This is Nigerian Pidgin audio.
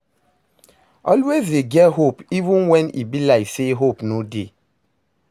Always dey get hope even wen e be like say hope no dey.